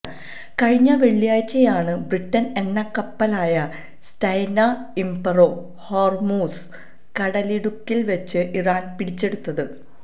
കഴിഞ്ഞ വെള്ളിയാഴ്ചയാണ് ബ്രിട്ടന്റെ എണ്ണക്കപ്പലായ സ്റ്റെനാ ഇംപറോ ഹോർമൂസ് കടലിടുക്കിൽ വെച്ച് ഇറാൻ പിടിച്ചെടുത്തത്